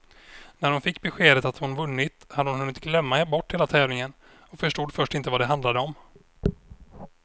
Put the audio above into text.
När hon fick beskedet att hon vunnit hade hon hunnit glömma bort hela tävlingen och förstod först inte vad det handlade om.